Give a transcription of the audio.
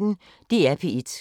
DR P1